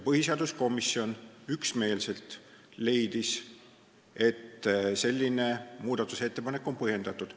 Põhiseaduskomisjon leidis üksmeelselt, et selline muudatusettepanek on põhjendatud.